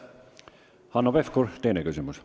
Hanno Pevkur, teine küsimus.